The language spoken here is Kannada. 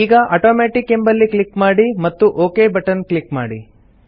ಈಗ ಆಟೋಮ್ಯಾಟಿಕ್ ಎಂಬಲ್ಲಿ ಕ್ಲಿಕ್ ಮಾಡಿ ಮತ್ತು ಒಕ್ ಬಟನ್ ಕ್ಲಿಕ್ ಮಾಡಿ